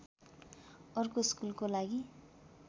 अर्को स्कुलको लागि